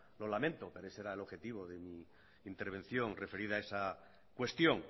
lo lamento pero ese era el objetivo de mi intervención referida a esa cuestión